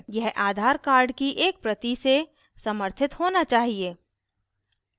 यह aadhaar card की एक प्रति से समर्थित होना चाहिए